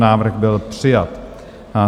Návrh byl přijat.